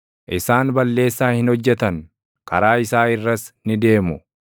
Isaan balleessaa hin hojjetan; karaa isaa irras ni deemu.